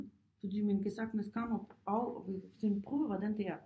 Fordi man kan sagtens komme af sådan prøve hvordan det er